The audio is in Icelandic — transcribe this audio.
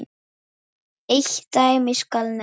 Eitt dæmi skal nefnt.